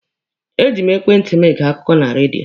E ji m ekwentị mụ gee akụkọ na redio.